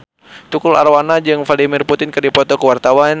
Tukul Arwana jeung Vladimir Putin keur dipoto ku wartawan